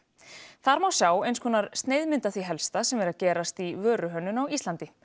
þar má sjá eins konar sneiðmynd af því helsta sem er að gerast í vöruhönnun á Íslandi